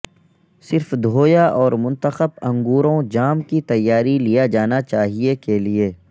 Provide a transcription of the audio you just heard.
صرف دھویا اور منتخب انگوروں جام کی تیاری لیا جانا چاہئے کے لئے